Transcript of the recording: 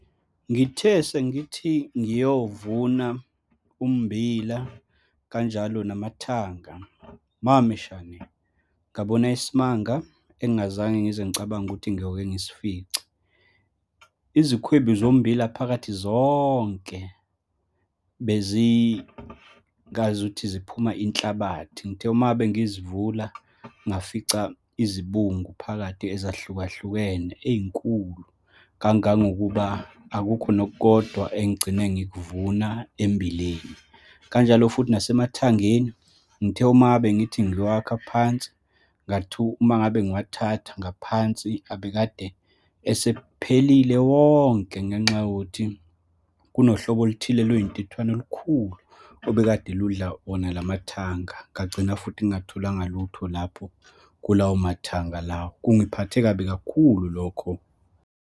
Ngithe sengithi ngiyovuna ummbila, kanjalo namathanga, mameshane, ngabona isimanga engingazange ngize ngicabange ukuthi ngiyoke ngisifice. Izikhwibi zombila, phakathi zonke, bezingazuthi ziphuma inhlabathi. Ngithe uma ngabe ngizivula, ngafica izibungu phakathi ezahlukahlukene, ey'nkulu kangangokuba akukho nokukodwa engigcine ngikuvuna emmbileni. Kanjalo futhi nasemathangeni, ngithe uma ngabe ngithi ngiwakha phansi, uma ngabe ngiwathatha ngaphansi abekade esephelile wonke, ngenxa yokuthi kunohlobo oluthile lwey'ntuthwane olukhulu obekade ludlala wona lamathanga. Ngagcina futhi ngingatholanga lutho lapho kulawo mathanga lawo. Kungiphathe kabi kakhulu lokho.